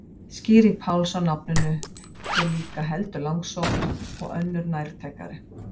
Skýring Páls á nafninu er líka heldur langsótt og önnur nærtækari.